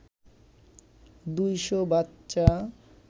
২০০ বাচ্চা